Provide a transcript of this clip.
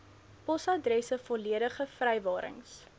posadresse volledige vrywarings